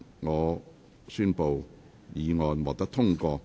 我宣布議案獲得通過。